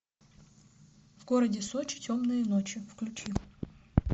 в городе сочи темные ночи включи